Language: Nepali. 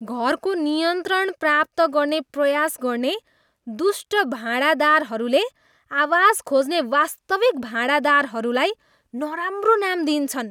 घरको नियन्त्रण प्राप्त गर्ने प्रयास गर्ने दुष्ट भाँडादारहरूले आवास खोज्ने वास्तविक भाँडादारहरूलाई नराम्रो नाम दिन्छन्।